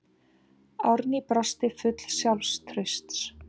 Árný brosir full sjálfstrausts.